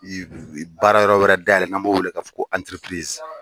Baarayɔrɔ wɛrɛ dayɛlɛ n'an b'o wele k'a fɔ ko